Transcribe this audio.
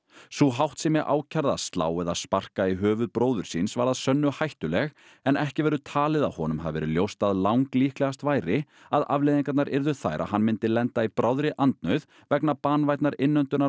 sú háttsemi ákærða að slá eða sparka í höfuð bróður síns var að sönnu hættuleg en ekki verður talið að honum hafi verið ljóst að langlíklegast væri að afleiðingarnar yrðu þær að hann myndi lenda í bráðri andnauð vegna banvænnar